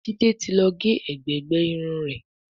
Jide tí ló gé ègbé gbé Irun rẹ.